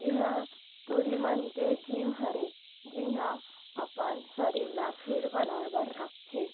ये हा टूरी मन के जिम हरे जिहाँ अपन शरीर ला फिट बनाए बर रखथे--